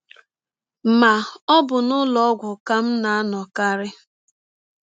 Ma, ọ bụ n’ụlọ ọgwụ ka m na - anọkarị.